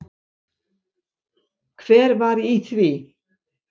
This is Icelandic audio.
Hver var í því?